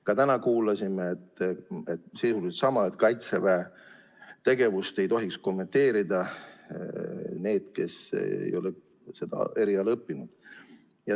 Ka täna kuulsime sisuliselt sama, et kaitseväe tegevust ei tohiks kommenteerida need, kes ei ole seda eriala õppinud.